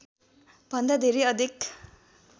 भन्दा धेरै अधिक